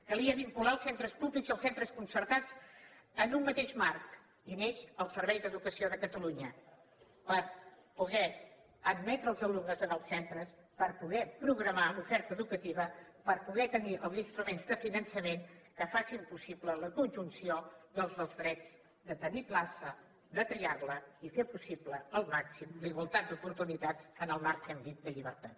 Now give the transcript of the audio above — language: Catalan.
calia vincular els centres públics i els centres concertats en un mateix marc i el neix el servei d’educació de catalunya per poder admetre els alumnes en els centres per poder programar l’oferta educativa per poder tenir els instruments de finançament que facin possible la conjunció dels nous drets de tenir plaça de triarla i fer possible al màxim la igualtat d’oportunitats en el marc que hem dit de llibertat